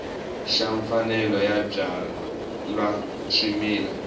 xa mfanelo yo byala swimila